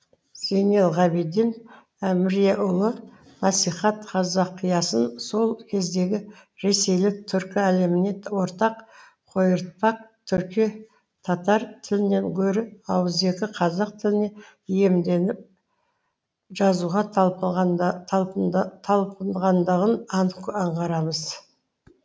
зейнелғабиден әміреұлы насихат қазақиясын сол кездегі ресейлік түркі әлеміне ортақ қойыртпақ түрки татар тілінен гөрі ауызекі қазақ тіліне икемделіп жазуға талпынғандығын анық аңғарамыз